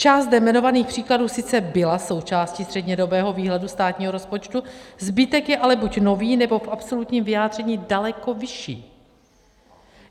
Část zde jmenovaných příkladů sice byla součástí střednědobého výhledu státního rozpočtu, zbytek je ale buď nový, nebo v absolutním vyjádření daleko vyšší.